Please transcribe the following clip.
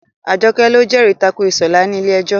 Àjọkẹ́ lọ jẹ́rì tako Ìṣọ̀lá ní ilé ẹjọ́